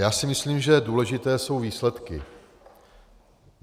Já si myslím, že důležité jsou výsledky.